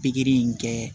Pikiri in kɛ